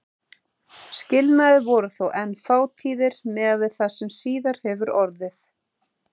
Skilnaðir voru þó enn fátíðir miðað við það sem síðar hefur orðið.